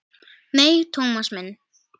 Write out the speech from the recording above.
Nei, Thomas minn.